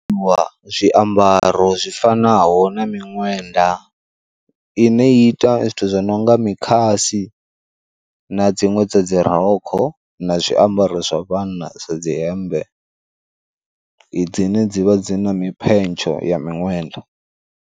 Wa zwiambaro zwi fanaho na miṅwenda i ne ita zwithu zwi nonga mikhas, i na dziṅwe dza dzi rokho na zwiambaro zwa vhanna sa dzi hemmbe i dzine dzivha dzi na mi phentsho ya miṅwenda.